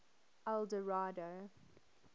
eldorado